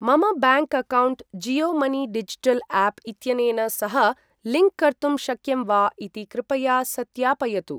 मम bank account Jio money digital app इत्यनेन सह लिंक् कर्तुं शक्यं वा इति कृपया सत्यापयतु।